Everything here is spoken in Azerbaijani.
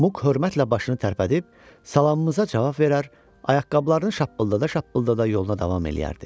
Muk hörmətlə başını tərpədib, salamımıza cavab verər, ayaqqabılarını şappıldada-şappıldada yoluna davam eləyərdi.